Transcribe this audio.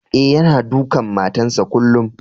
Eh, yanna dukan matan sa kullum.